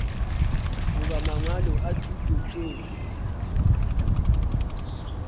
goba mangwalo a thuto tšeo